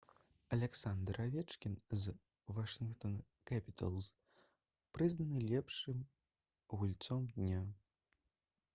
аляксандр авечкін з «вашынгтон кэпіталз» прызнаны лепшым гульцом дня